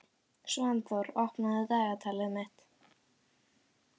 Svanþór, opnaðu dagatalið mitt.